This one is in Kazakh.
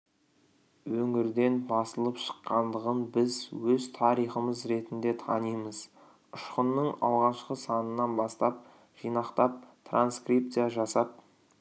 өңірден басылып шыққандығын біз өз тарихымыз ретінде танимыз ұшқынның алғашқы санынан бастап жинақтап транскрипция жасап